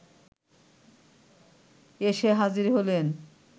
এসে হাজির হলেন